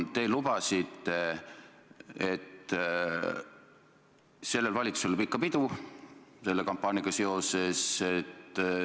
Te lubasite selle kampaaniaga seoses, et sellel valitsusel pole pikka pidu.